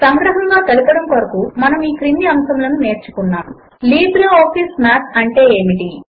సంగ్రహముగా తెలపడము కొరకు మనము ఈ క్రింది అంశములను నేర్చుకున్నాము లిబ్రిఆఫిస్ మాత్ అంటే ఏమిటి